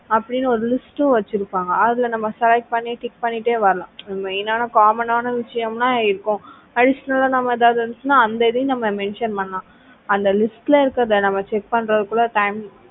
அப்படின்னு ஒரு list வச்சிருப்பாங்க அதுல நம்ம select பண்ணி tick பண்ணிட்டே வரலாம் main ஆன common விஷயம்ன எல்லாம் இருக்கும் additional ஆ நம்ம ஏதாவது இருந்துச்சுன்னா அந்த இதையும் நம்ம mention பண்ணலாம் அந்த list ல இருக்கிறத நம்ம check பண்றதுக்குள்ள time